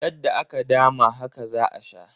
Yadda aka dama haka za a sha.